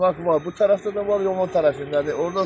İşarə var, bu tərəfdə də var, yolun o tərəfindədir.